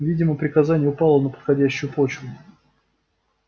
видимо приказание упало на подходящую почву